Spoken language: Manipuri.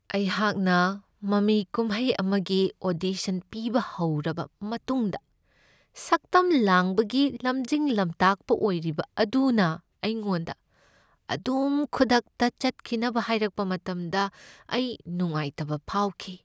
ꯑꯩꯍꯥꯛꯅ ꯃꯃꯤ ꯀꯨꯝꯍꯩ ꯑꯃꯒꯤ ꯑꯣꯗꯤꯁꯟ ꯄꯤꯕ ꯍꯧꯔꯕ ꯃꯇꯨꯡꯗ ꯁꯛꯇꯝ ꯂꯥꯡꯕꯒꯤ ꯂꯝꯖꯤꯡ ꯂꯝꯇꯥꯡꯄ ꯑꯣꯏꯔꯤꯕ ꯑꯗꯨꯅ ꯑꯩꯉꯣꯟꯗ ꯑꯗꯨꯝ ꯈꯨꯗꯛꯇ ꯆꯠꯈꯤꯅꯕ ꯍꯥꯏꯔꯛꯕ ꯃꯇꯝꯗ ꯑꯩ ꯅꯨꯡꯉꯥꯏꯇꯕ ꯐꯥꯎꯈꯤ ꯫